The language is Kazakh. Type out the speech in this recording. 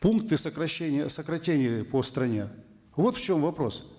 пункты сокращения сократили по стране вот в чем вопрос